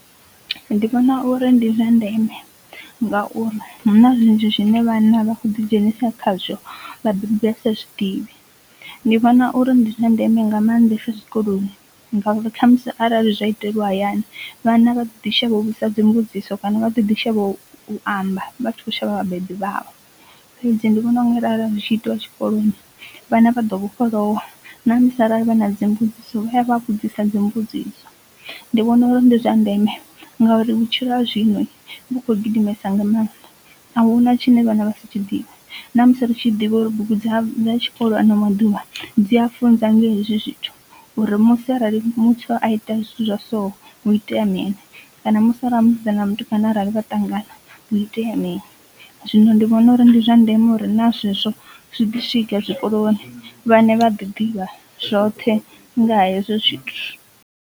Ndi vhona uri ndi zwa ndeme nga uri huna zwinzhi zwine vhana vha kho ḓi dzhenisa khazwo vhabebi vha sa zwidivhi, ndi vhona uri ndi zwa ndeme nga maanḓesa zwikoloni ngauri khamusi arali zwa itelwa hayani vhana vha ḓi shavha u vhudzisa dzimbudziso kana vha ḓo ḓi shavha u amba vha tshi kho shavha vhabebi vhavho, fhedzi ndi vhona unga arali zwi tshi itiwa tshikoloni vhana vha ḓo vhofholowa na musi arali vha na dzimbudziso vha a vha vhudzisa dzimbudziso. Ndi vhona uri ndi zwa ndeme ngauri vhutshilo ha zwino vhu kho gidimesa nga mannḓa ahuna tshine vhana vha si tshi ḓivhe na musi ri tshi ḓivha uri bugu dza tshikolo ano maḓuvha dzi a funza nga hezwi zwithu uri musi arali muthu a ite zwithu zwa so hu itea mini kana musi arali musidzana na mutukana arali vha ṱangana hu itea mini, zwino ndi vhona uri ndi zwa ndeme uri na zwezwo zwi ḓi swika zwikoloni vhana vha ḓi ḓivha zwoṱhe nga hezwo zwithu.